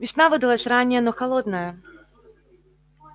весна выдалась ранняя но холодная